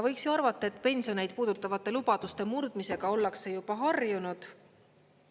Võiks ju arvata, et pensione puudutavate lubaduste murdmisega ollakse juba harjunud.